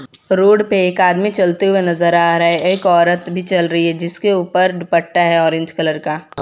Road पर एक आदमी चलते हुए नजर आ रहा है एक औरत भी चल रही है जिसके ऊपर दुपट्टा है ऑरेंज कलर का।